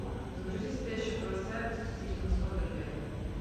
загрузи спящую красавицу стивена содерберга